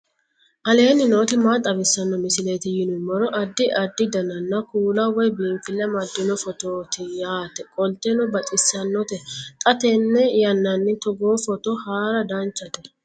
aleenni nooti maa xawisanno misileeti yinummoro addi addi dananna kuula woy biinfille amaddino footooti yaate qoltenno baxissannote xa tenne yannanni togoo footo haara danchate